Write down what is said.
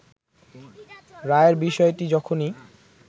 রায়ের বিষয়টি যখনি